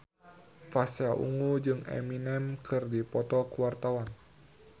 Pasha Ungu jeung Eminem keur dipoto ku wartawan